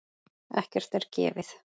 Ekkert er gefið.